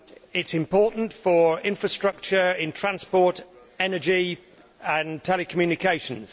It is important for infrastructure in transport, energy and telecommunications.